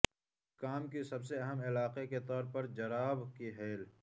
کام کی سب سے اہم علاقے کے طور پر جراب کی ہیل